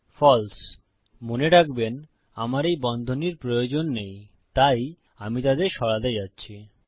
ফালসে মনে রাখবেন আমার এই বন্ধনীর প্রয়োজন নেই তাই আমি তাদের সরাতে যাচ্ছি